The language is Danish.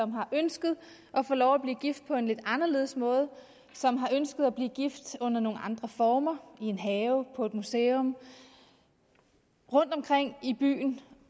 har ønsket at få lov at blive gift på en lidt anderledes måde som har ønsket at blive gift under nogle andre former i en have på et museum rundtomkring i byen